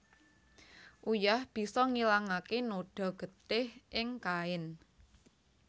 Uyah bisa ngilangaké noda getih ing kain